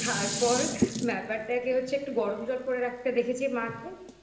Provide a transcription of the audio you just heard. তারপর ব্যাপারটাকে হচ্ছে একটু গরম জল করে রাখতে দেখেছি মাকে I